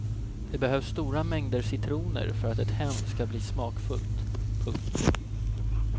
Det behövs stora mängder citroner för att ett hem ska bli smakfullt. punkt